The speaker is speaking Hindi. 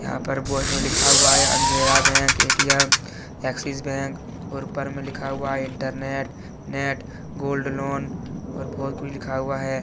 लिखा हुआ है अंधेरा बैंक ए_टी_एम एक्सिस बैंक और ऊपर में लिखा हुआ इंटरनेट है गोल्डन लॉन लिखा हुआ है।